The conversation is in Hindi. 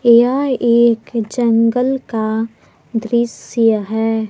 यह एक जंगल का दृश्य है।